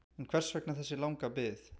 En hvers vegna þessi langa bið?